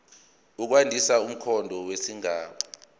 ukwandisa umqondo wesigaba